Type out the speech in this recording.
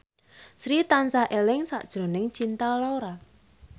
Sri tansah eling sakjroning Cinta Laura